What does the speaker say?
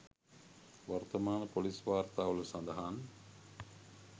වර්තමාන ‍පොලිස් වාර්තාවල සඳහන්